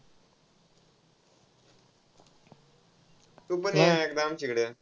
तूपण ये एकदा आमच्याकडं.